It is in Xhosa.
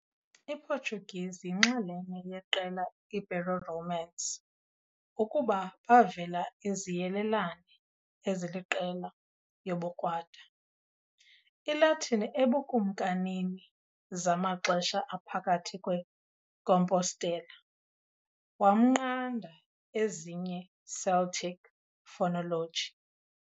Portuguese yinxalenye yeqela Ibero-Romance ukuba bavela iziyelelane eziliqela yobukrwada Latin eBukumkanini zamaxesha aphakathi kwe Compostela, wamnqanda ezinye Celtic phonology.